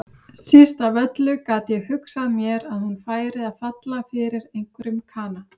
Síst af öllu gat ég hugsað mér að hún færi að falla fyrir einhverjum kana.